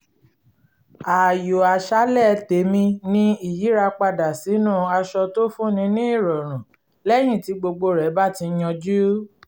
ààyò àṣálẹ tèmi ni ìyíra padà sínú aṣọ tó fún ni ní ìrọ̀rùn lẹ́yìn tí gbogbo rẹ bá ti yanjú